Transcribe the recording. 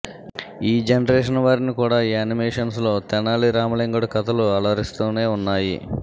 ఈ జనరేషన్ వారిని కూడా యానిమేషన్స్ లో తెనాలి రామలింగడు కథలు అలరిస్తూనే ఉన్నాయి